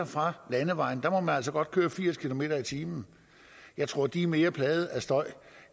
fra landevejen der må man altså godt køre firs kilometer per time jeg tror de er mere plaget af støj